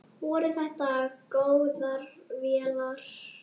Voru þetta góðar vélar?